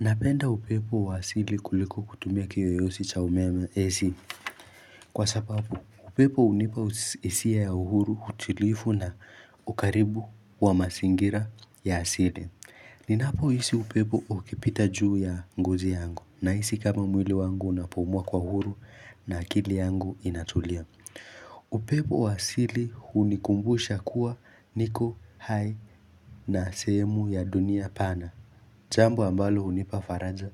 Napenda upepo wa asili kuliko kutumia kiyoyosi cha umeme AC kwa sababu upepo hunipa hisia ya uhuru utilifu na ukaribu wa mazingira ya asili. Ninapo hisi upepo ukipita juu ya ngozi yangu na hisi kama mwili wangu unapumua kwa uhuru na akili yangu inatulia. Upepo wa asili hunikumbusha kuwa niko hai na sehemu ya dunia pana. Jambo ambalo hunipa faraja